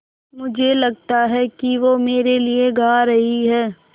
मुझे लगता है कि वो मेरे लिये गा रहीं हैँ